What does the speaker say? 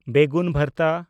ᱵᱮᱜᱩᱱ ᱵᱷᱟᱨᱛᱟ